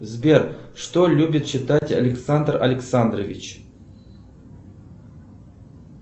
сбер что любит читать александр александрович